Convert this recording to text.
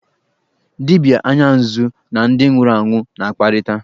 Dibịa anya nzu na ndị nwụrụ anwụ na-akparịta.